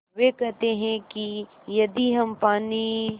वे कहते हैं कि यदि हम पानी